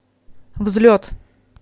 взлет